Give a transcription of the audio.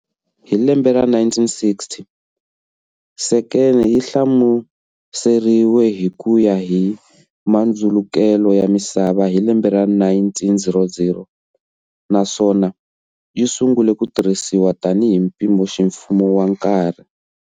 Hi lembe ra 1960, sekende yi hlamuseriwe hi kuya hi mandzulukele ya misava hi lembe ra 1900, naswona yi sungule ku tirhisiwa tani hi mpimoximfumo wa nkarhi.